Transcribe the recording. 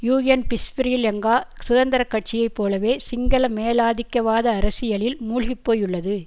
UNP Sri Lanka சுதந்திர கட்சியை போலவே சிங்கள மேலாதிக்கவாத அரசியலில் மூழ்கி போயுள்ளது